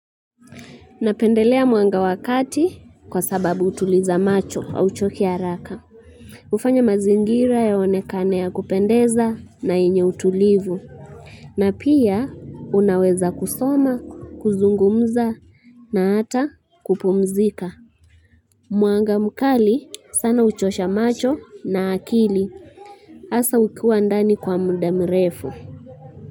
Napendelea mwanga wa kati kwa sababu hutuliza macho hauchoki haraka. Hufanya mazingira yaonekane ya kupendeza na yenye utulivu. Na pia unaweza kusoma, kuzungumza na hata kupumzika. Mwanga mkali sana uchosha macho na akili. Hasa ukiwa ndani kwa muda mrefu.